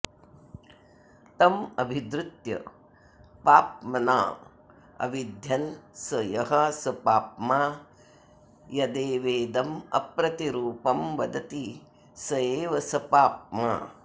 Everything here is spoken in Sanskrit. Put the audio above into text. तमभिद्रुत्य पाप्मनाऽविध्यन् स यः स पाप्मा यदेवेदमप्रतिरूपं वदति स एव स पाप्मा